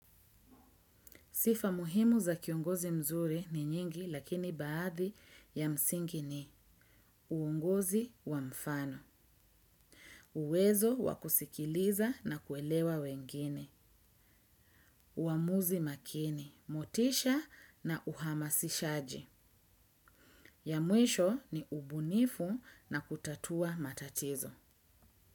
Sifa muhimu za kiongozi mzuri ni nyingi lakini baadhi ya msingi ni uongozi wa mfano, uwezo wa kusikiliza na kuelewa wengine, uamuzi makini, motisha na uhamasishaji. Ya mwisho ni ubunifu na kutatua matatizo.